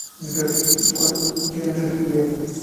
сбер кто такой генрих лев